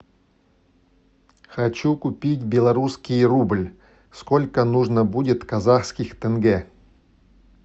хочу купить белорусский рубль сколько нужно будет казахских тенге